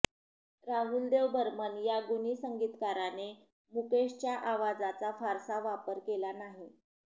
राहुलदेव बर्मन या गुणी संगीतकाराने मुकेशच्या आवाजाचा फारसा वापर केला नाही